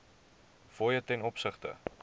fooie ten opsigte